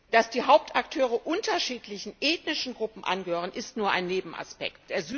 Dass die Hauptakteure unterschiedlichen ethnischen Gruppen angehören, ist nur ein Nebenaspekt.